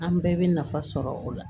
An bɛɛ bɛ nafa sɔrɔ o la